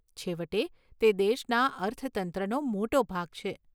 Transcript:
છેવટે, તે દેશના અર્થતંત્રનો મોટો ભાગ છે.